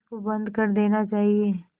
इसको बंद कर देना चाहिए